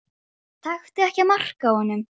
Ha- hann Bárður?